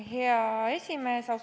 Hea esimees!